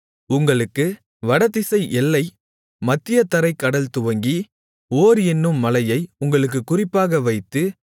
உங்களுக்கு வடதிசை எல்லை மத்தியதரைக் கடல் துவங்கி ஓர் என்னும் மலையை உங்களுக்குக் குறிப்பாக வைத்து